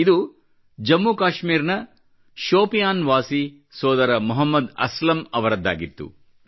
ಇದು ಜಮ್ಮು ಕಾಶ್ಮೀರ್ ನ ಶೋಪಿಯಾನ್ ವಾಸಿ ಸೋದರ ಮೊಹಮ್ಮದ್ ಅಸ್ಲಂ ಅವರದ್ದಾಗಿತ್ತು